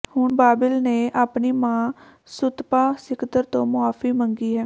ਹੁਣ ਬਾਬਿਲ ਨੇ ਆਪਣੀ ਮਾਂ ਸੁਤਪਾ ਸਿਕਦਰ ਤੋਂ ਮੁਆਫੀ ਮੰਗੀ ਹੈ